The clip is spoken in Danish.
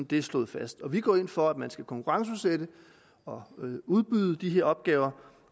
det er slået fast vi går ind for at man skal konkurrenceudsætte og udbyde de her opgaver